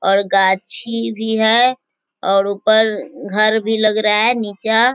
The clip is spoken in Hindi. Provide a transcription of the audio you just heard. और गाछी भी है और ऊपर घर भी लग रहा है निचा--